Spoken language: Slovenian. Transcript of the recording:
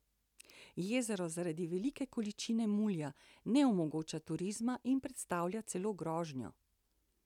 Jezero zaradi velike količine mulja ne omogoča turizma in predstavlja celo grožnjo.